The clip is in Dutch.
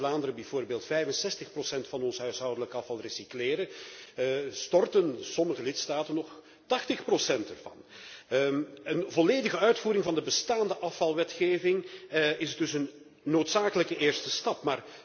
Terwijl wij in Vlaanderen bijvoorbeeld 65 procent van ons huishoudelijk afval recycleren, storten sommige lidstaten nog 80 procent ervan. Een volledige uitvoering van de bestaande afvalwetgeving is dus een noodzakelijke eerste stap.